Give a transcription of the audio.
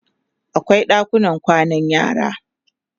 akwai ɗakunan kwana na yara